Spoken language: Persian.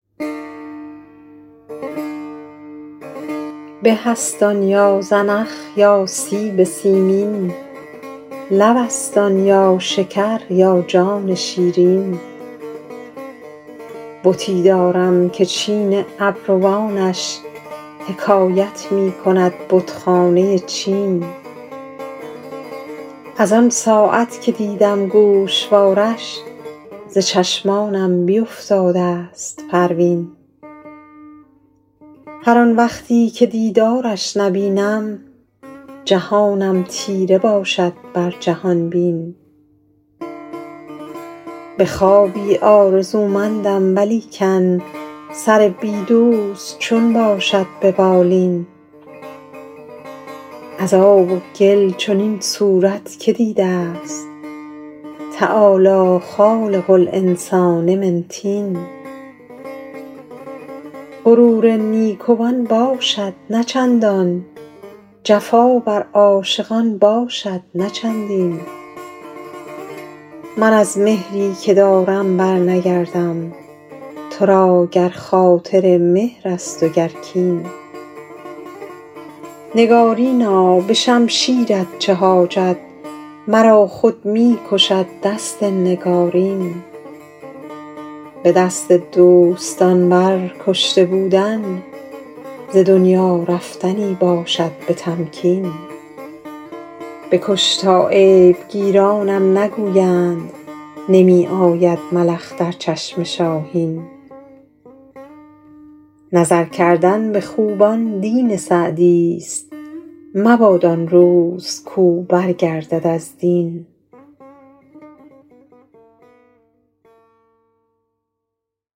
به است آن یا زنخ یا سیب سیمین لب است آن یا شکر یا جان شیرین بتی دارم که چین ابروانش حکایت می کند بتخانه چین از آن ساعت که دیدم گوشوارش ز چشمانم بیفتاده ست پروین هر آن وقتی که دیدارش نبینم جهانم تیره باشد بر جهان بین به خوابی آرزومندم ولیکن سر بی دوست چون باشد به بالین از آب و گل چنین صورت که دیده ست تعالی خالق الانسان من طین غرور نیکوان باشد نه چندان جفا بر عاشقان باشد نه چندین من از مهری که دارم برنگردم تو را گر خاطر مهر است و گر کین نگارینا به شمشیرت چه حاجت مرا خود می کشد دست نگارین به دست دوستان بر کشته بودن ز دنیا رفتنی باشد به تمکین بکش تا عیب گیرانم نگویند نمی آید ملخ در چشم شاهین نظر کردن به خوبان دین سعدیست مباد آن روز کاو برگردد از دین